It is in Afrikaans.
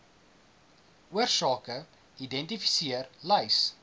oorsake identifiseer lys